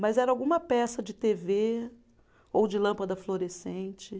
Mas era alguma peça de tê vê ou de lâmpada fluorescente.